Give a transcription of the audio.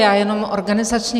Já jenom organizačně.